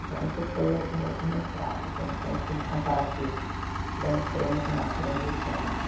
Então, isso foi o o o mestrado, que foi um estudo comparativo da imprensa nas transições.